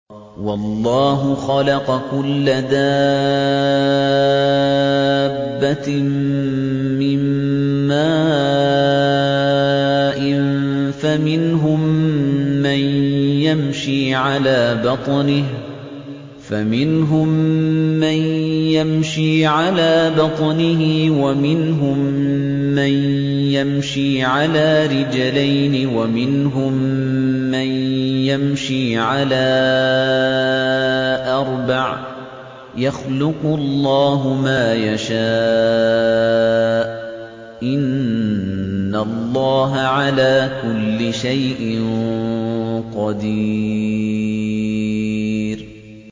وَاللَّهُ خَلَقَ كُلَّ دَابَّةٍ مِّن مَّاءٍ ۖ فَمِنْهُم مَّن يَمْشِي عَلَىٰ بَطْنِهِ وَمِنْهُم مَّن يَمْشِي عَلَىٰ رِجْلَيْنِ وَمِنْهُم مَّن يَمْشِي عَلَىٰ أَرْبَعٍ ۚ يَخْلُقُ اللَّهُ مَا يَشَاءُ ۚ إِنَّ اللَّهَ عَلَىٰ كُلِّ شَيْءٍ قَدِيرٌ